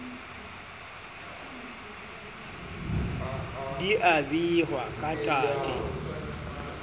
di a behwa ka tate